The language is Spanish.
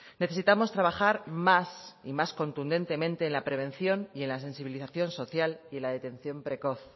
necesitamos trabajar más y más contundentemente en la prevención y en la sensibilización social y la detección precoz